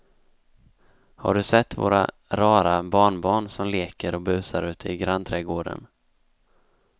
Har du sett våra rara barnbarn som leker och busar ute i grannträdgården!